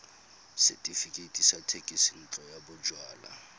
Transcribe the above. setefikeiti sa thekisontle ya bojalwa